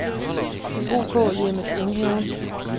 OK-Hjemmet Enghaven